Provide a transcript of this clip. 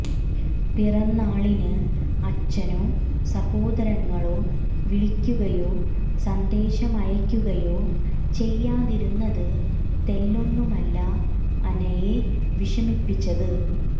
പിറന്നാളിന് അച്ഛനോ സഹോദരങ്ങളോ വിളിക്കുകയോ സന്ദേശമയക്കുകയോ ചെയ്യാതിരുന്നത് തെല്ലൊന്നുമല്ല അനയെ വിഷമിപ്പിച്ചത്